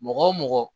Mɔgɔ wo mɔgɔ